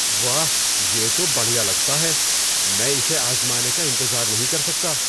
واہ، یہ تو بڑھیا لگتا ہے! میں اسے آزمانے کا انتظار نہیں کر سکتا۔